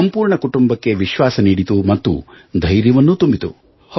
ಸಂಪೂರ್ಣ ಕುಟುಂಬಕ್ಕೆ ವಿಶ್ವಾಸ ನೀಡಿತು ಮತ್ತು ಧೈರ್ಯವನ್ನೂ ತುಂಬಿತು